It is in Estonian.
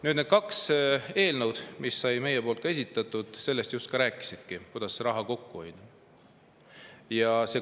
Nüüd need kaks eelnõu, mis meie poolt esitati, just sellest rääkisidki, kuidas raha kokku hoida.